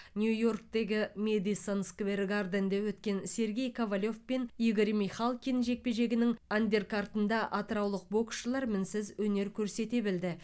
нью йорктегі мэдисон сквер гарденде өткен сергей ковалев пен игорь михалкин жекпе жегінің андеркартында атыраулық боксшылар мінсіз өнер көрсете білді